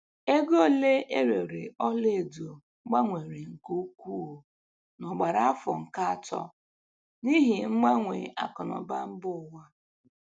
Ego ole erere ọla edo gbanwere nke ukwuu n'ogbara afọ nke atọ n'ihi mgbanwe akụ na ụba mba ụwa.